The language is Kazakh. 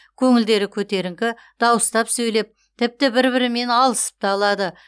көңілдері көтеріңкі дауыстап сөйлеп тіпті бір бірімен алысып та алады